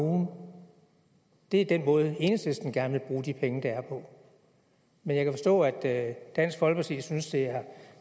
ugen det er den måde enhedslisten gerne vil bruge de penge der er på men jeg kan forstå at dansk folkeparti synes at